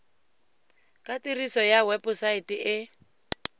ka tiriso ya webosaete e